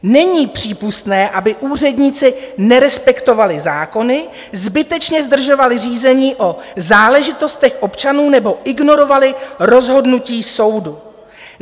Není přípustné, aby úředníci nerespektovali zákony, zbytečně zdržovali řízení o záležitostech občanů nebo ignorovali rozhodnutí soudu.